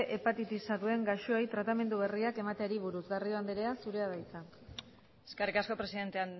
hepatitisa duten gaixoei tratamendu berriak emateari buruz garrido andrea zurea da hitza eskerrik asko presidente